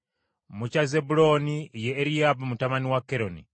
mu kya Zebbulooni ye Eriyaabu mutabani wa Keroni.